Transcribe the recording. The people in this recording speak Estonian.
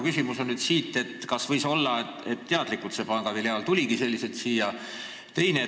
Kas võis aga olla nii, et see pangafiliaal tuligi teadlikult sellisena siia.